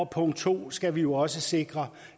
punkt to skal vi jo også sikre